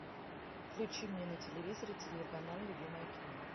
включи мне на телевизоре телеканал любимое кино